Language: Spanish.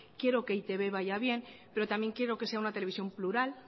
quiero que e i te be vaya bien pero también quiero que sea una televisión plural